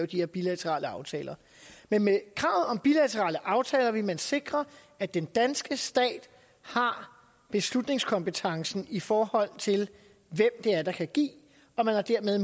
de her bilaterale aftaler med men kravet om bilaterale aftaler ville man sikre at den danske stat har beslutningskompetencen i forhold til hvem der kan give og dermed